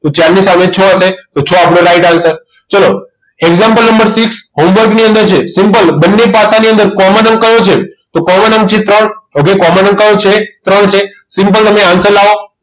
તો ચાર ની સામે છ હશે તો છ આપણો right answer ચલો example નંબર six homework ની અંદર છે simple બંને પાસાની અંદર common અંક કયો છે તો common અંક છે ત્રણ okay common અંક કયો છે ત્રણ છે simple તમે answer લાવો